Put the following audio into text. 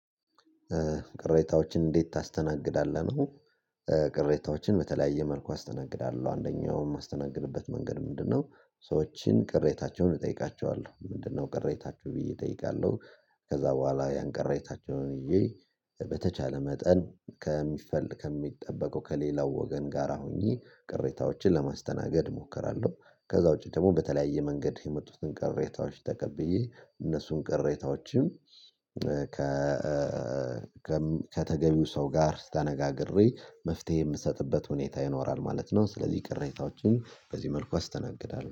ቅሬታዎችን እንዴት ታስተናግዳለህ ነው? ቅሬታዎችን በተለያየ መልኩ አስተናግዳለሁ አንደኛውም የማስተናግድበት መንገድ ምንድነው ሰዎችን ቅሬታቸውን እጠይቃቸዋለሁ ምንድነው ቅሬታቸው ብዬ እጠይቃለሁ። ከዛ በኋላ ያንቀረታቸውን ይዤ በተቻለ መጠን ከሚጠበቀው ከሌላው ወገን ጋር ሁኘ ቅሬታዎችን ለማስተናገድ እሞክራለሁ። ከዛ ውጪ ደግሞ በተለያየ መንገድ የመጡትን ቅሬታዎች ተቀብዬ እነሱን ቅሬታዎችም ከተገቢው ሰው ጋር ተነጋግሬ መፍትሄ የምሰጥበት ሁኔታ ይኖራል ማለት ነው። ስለዚህ ቅሬታዎችን በዚህ መልኩ አስተናግዳለሁ